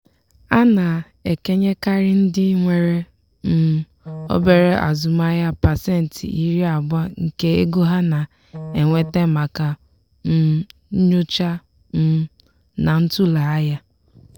a na-ekenyekarị ndị nwere um obere azụmaahịa pasentị iri abụọ nke ego ha na-enweta maka um nyocha um na ntụle ahịa.